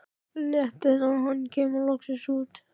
Léttir þegar hann kemur loksins út.